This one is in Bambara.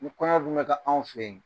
Ni kɔɲɔ dun bɛ kƐ anw fɛ yen,